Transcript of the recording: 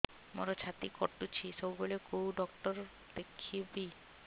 ମୋର ଛାତି କଟୁଛି ସବୁବେଳେ କୋଉ ଡକ୍ଟର ଦେଖେବି